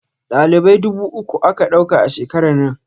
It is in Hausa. Dalibai dubu uku aka ɗauka a shekarar nan